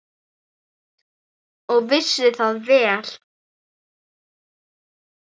Og vissi það vel.